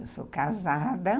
Eu sou casada.